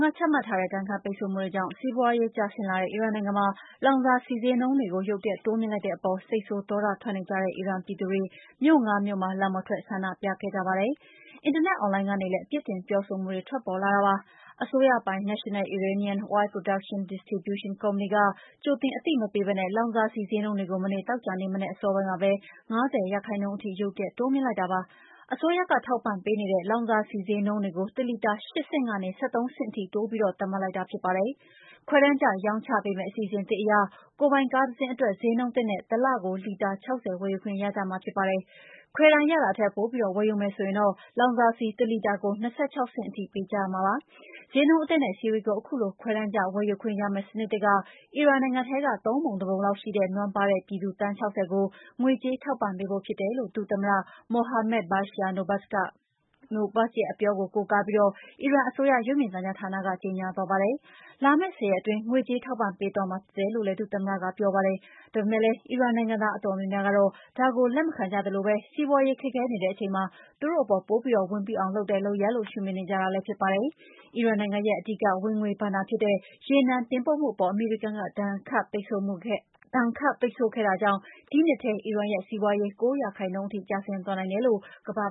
က ချမှတ်ထားတဲ့ ဒဏ်ခတ်ပိတ်ဆို့မှုတွေကြောင့် စီးပွားရေး ကျဆင်းလာတဲ့ အီရန်နိုင်ငံမှာ လောင်စာဆီဈေးနှုန်းတွေကို ရုတ်တရက် တိုးမြှင့်လိုက်တဲ့အပေါ် စိတ်ဆိုးဒေါသထွက်နေကြတဲ့ အီရန်ပြည်သူတွေ မြို့ ၅ မြို့မှာ လမ်းပေါ်ထွက် ဆန္ဒပြလာကြပါတယ်။ အင်တာနက်အွန်လိုင်းကနေလည်း ပြစ်တင် ပြောဆိုလာကြတာပါ။ အစိုးရပိုင် National Iranian Oil Products Distribution Company က ကြိုတင်အသိမပေးဘဲ လောင်စာဆီဈေးနှုန်းတွေကို မနေ့ သောကြာနေ့မနက် အစောပိုင်းမှာပဲ ၅၀ ရာခိုင်နှုန်းထိ ရုတ်တရက် တိုးမြှင့်လိုက်တာပါ။ အစိုးရက ထောက်ပံ့ပေးနေတဲ့ လောင်စာဆီဈေးနှုန်းကို တလီတာ ၈ ဆင့်ကနေ ၁၃ ဆင့်ထိ တိုးပြီး သတ်မှတ်လိုက်တာ ဖြစ်ပါတယ်။ ခွဲတမ်းကျ ရောင်းပေးမယ့် အစီအစဉ်သစ်အရ ကိုယ်ပိုင်ကားတစင်းအတွက် ဈေးနှုန်းသစ်နဲ့ တလကို လီတာ ၆၀ ဝယ်ယူခွင့်ရကြမှာ ဖြစ်ပါတယ်။ ခွဲတမ်းရတာထက် ပိုပြီး ဝယ်ယူမယ်ဆိုရင်တော့ လောင်စာဆီ တလီတာကို ၂၆ ဆင့်ထိ ပေးကြရမှာဖြစ်ပါတယ်။ ဈေးနှုန်းအသစ်နဲ့ ဆီတွေကို ခုလို ခွဲတမ်းကျ ဝယ်ယူခွင့်ရမယ့် စနစ်သစ်က အီရန်နိုင်ငံထဲက ၃ ပုံ ၁ ပုံလောက်ရှိတဲ့ နွမ်းပါးပြည်သူ သန်း ၆၀ ကို ငွေကြေးထောက်ပံ့ပေးဖို့ ဖြစ်တယ်လို့ ဒုသမ္မတ Mohammad Bagher Nobakht ကို ကိုးကားပြီး အီရန်အစိုးရ ရုပ်မြင်သံကြားဌာနက ကြေညာသွားပါတယ်။ လာမယ့် ၁၀ ရက်အတွင်း ငွေကြေးထောက်ပံ့ပေးသွားမှာ ဖြစ်တယ်လို့လည်း ဒုသမ္မတက ပြောပါတယ်။ ဒါပေမယ့်လည်း အီရန်နိုင်ငံသား အတော်များများကတော့ ဒါကို လက်မခံကြသလို စီးပွားရေး ခက်ခဲနေတဲ့အချိန်မှာ သူတို့အပေါ် ပိုပြီး ဝန်ပိအောင်လုပ်တဲ့ လုပ်ရပ်လို့ ရှုမြင်နေကြတာလည်း ဖြစ်ပါတယ်။ အီရန်ရဲ့ အဓိကဝင်ငွေဘဏ္ဍာဖြစ်တဲ့ ရေနံတင်ပို့မှုအပေါ် အမေရိကန်က ဒဏ်ခတ်ပိတ်ဆို့ခဲ့တာကြောင့် ဒီနှစ်ထဲ အီရန်ရဲ့ စီးပွားရေး ၉ ရာခိုင်နှုန်းထိ ကျဆင်းသွားနိုင်တယ်လို့ ကမ္ဘာ့